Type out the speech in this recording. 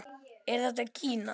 Er þetta gína?